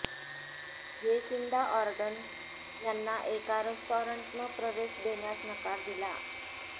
Jacinda Ardern यांना एका रेस्टॉरंटनं प्रवेश देण्यास नकार दिला